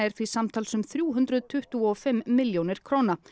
því samtals um þrjú hundruð tuttugu og fimm milljónir króna